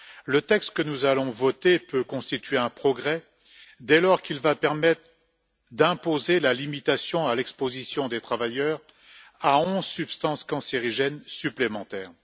Le texte que nous allons voter peut constituer un progrès dès lors qu'il va permettre d'imposer la limitation à l'exposition des travailleurs à onze substances cancérigènes supplémentaires.